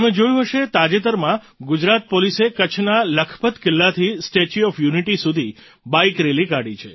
તમે જોયું હશે તાજેતરમાં ગુજરાત પોલીસે કચ્છના લખપત કિલ્લાથી સ્ટેચ્યૂ ઑફ યૂનિટી સુધી બાઇક રેલી કાઢી છે